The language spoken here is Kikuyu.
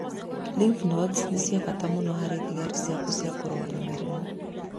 Lymph nodes nĩ cia bata mũno harĩ thigari ciaku cia kũrũa na mĩrimũ